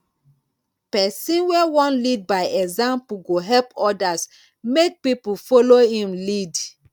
pesin wey wan lead by example go help odas make pipo folo im lead